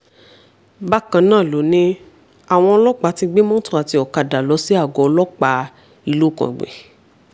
bákan náà ló ní àwọn ọlọ́pàá ti gbé mọ́tò àti ọ̀kadà lọ sí àgọ́ ọlọ́pàá ìlúu kàǹgbì